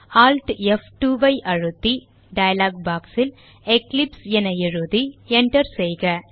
Alt F2 ஐ அழுத்தி dialogue box ல் எக்லிப்ஸ் என எழுதி enter செய்க